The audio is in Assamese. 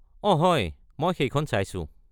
অঁ হয়! মই সেইখন চাইছো।